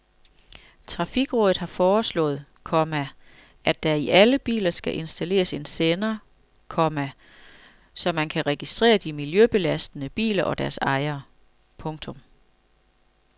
Trafikrådet har foreslået, komma at der i alle biler skal installeres en sender, komma så man kan registrere de miljøbelastende biler og deres ejere. punktum